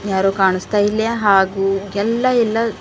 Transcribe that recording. ಯಾರೂ ಕಾಣಿಸ್ತಾಇಲ್ಯ ಹಾಗು ಎಲ್ಲಾ ಎಲ್ಲಾ--